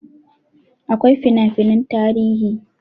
Akwai fina finan tarihi